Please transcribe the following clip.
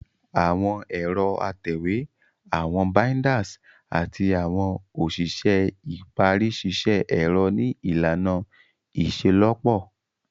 Awọn ẹrọ atẹwe, awọn binders, ati awọn oṣiṣẹ ipari ṣiṣẹ ẹrọ ni ilana iṣelọpọ.